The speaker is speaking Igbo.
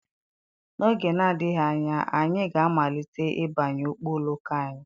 n'oge na-adịghị anya anyị ga-amalite ịbanye ụgbọ oloko anyị